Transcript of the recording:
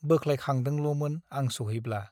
बोख्लायखांदोंल' मोन आं सौहैब्ला ।